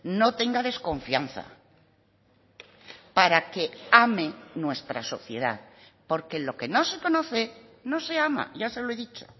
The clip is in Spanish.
no tenga desconfianza para que ame nuestra sociedad porque lo que no se conoce no se ama ya se lo he dicho